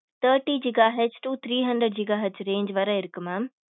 thirty giga hetz to three hundred giga hetz range வர இருக்கு mam